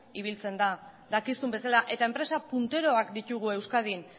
ibiltzen da dakizun bezala eta enpresa punteroak ditugu euskadin